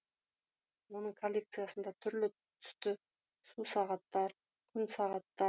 оның коллекциясында түрлі түсті су сағаттар күн сағаттар